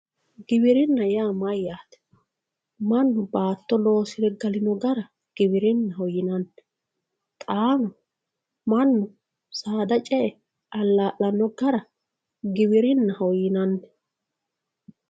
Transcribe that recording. Giwirina yaa mayaate mannu naato loosire galino gara giwirinaho yinani xaahu mannu saada ce`e alal`lano gara giwirinaho yinani